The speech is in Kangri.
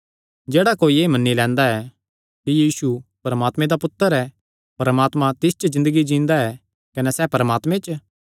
जेह्ड़ा कोई एह़ मन्नी लैंदा ऐ कि यीशु परमात्मे दा पुत्तर ऐ परमात्मा तिस च ज़िन्दगी जींदा ऐ कने सैह़ परमात्मे च